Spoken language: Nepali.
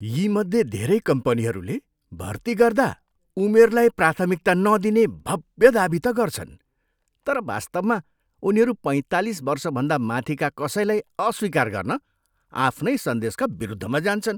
यीमध्ये धेरै कम्पनीहरूले भर्ती गर्दा उमेरलाई प्राथमिकता नदिने भव्य दावी त गर्छन् तर वास्तवमा उनीहरू पैँतालिस वर्षभन्दा माथिका कसैलाई अस्वीकार गर्न आफ्नै सन्देशका विरुद्धमा जान्छन्।